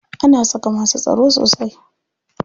Ana saka masu tsaro sosai.